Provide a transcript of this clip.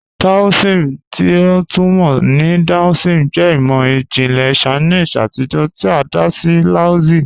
Taoism, ti a tun mọ ni Daoism, jẹ imọ-jinlẹ Chinese atijọ ti a da sí Laozi.